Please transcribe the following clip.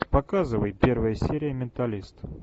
показывай первая серия менталист